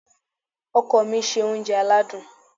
Ọkọ mi se oúnjẹ aládùn.